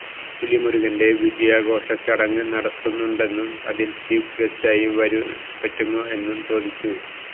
പുലിമുരുകന്റെ വിജയാഘോഷ ചടങ്ങ് നടത്തുന്നുണ്ടെന്നും അതില് ചീഫ് ഗസ്റ്റായി വരാന് പറ്റുമോ എന്ന് ചോദിച്ചു